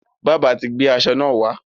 Bábà ti gbé aṣọ náà wá.